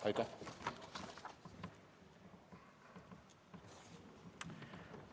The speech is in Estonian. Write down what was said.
Aitäh!